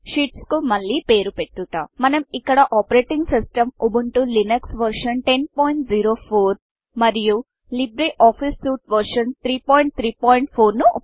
sheets కు మళ్ళీ పేరు పెట్టుట మనం ఇక్కడ operating system Ubuntu Linux version operating system Ubuntu Linux వెర్షన్1004 మరియు లిబ్రిఆఫిస్ సూట్ versionలిబరే ఆఫీసు సుయుట్ వెర్షన్ 334